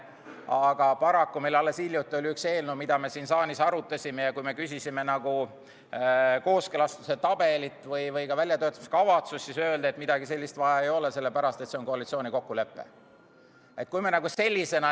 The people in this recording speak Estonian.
Aga paraku oli meil alles hiljuti ühe eelnõuga, mida me siin saalis arutasime, sedasi, et kui küsisime kooskõlastustabelit või väljatöötamiskavatsust, siis öeldi, et seda ei ole vaja, sellepärast et see on koalitsioonil kokku lepitud.